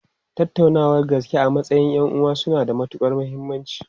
Tattaunawar gaske a matsayin 'yan'uwa suna da matukar muhimmanci.